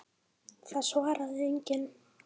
Það svaraði enginn.